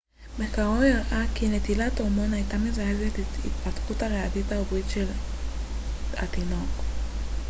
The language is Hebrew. מחקרו הראה כי נטילת הורמון הייתה מזרזת את ההתפתחות הריאתית העוברית של התינוק